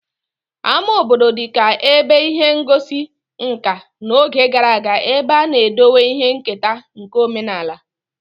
Ama obodo dịka ebe ihe ngosi nkà n'oge gara aga ebe a na-edowe ihe nketa nke omenaala